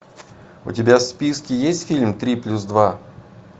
у тебя в списке есть фильм три плюс два